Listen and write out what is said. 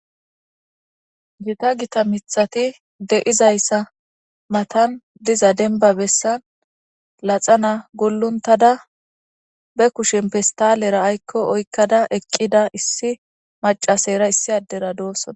Gita gita mithati de'izayssa matan diza denba bessan laxana guluntada be kushen pistalera aykko oykkada eqqida issi macasayra issi addera doossona.